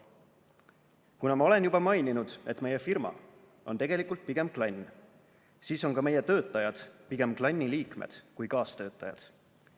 "Kuna ma olen juba maininud, et meie firma on tegelikult pigem klann, siis on ka meie töötajad pigem klanni liikmed kui kaastöötajad.